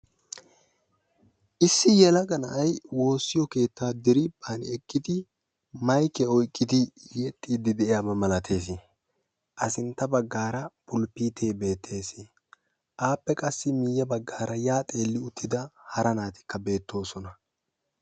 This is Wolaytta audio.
Issi yelaga na'ay woossiyo keettaa geli hani ekkidi maykiya oyqqidi yexxiiddi de'iyaba milatees. A sintta baggaara fulppiitee beettees. Appe qassi miiyye baggaara yaa xeelli uttida hara naatikka beettoosona.